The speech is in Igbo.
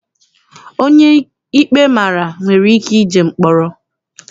Onye ikpe mara nwere ike jee mkpọrọ.